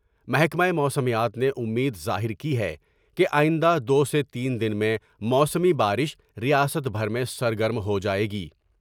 محکمہ موسمیات نے امید ظاہر کی ہے کہ آئند ہ دو سے تین دن میں موسمی با رش ریاست بھر میں سرگرم ہو جاۓ گی ۔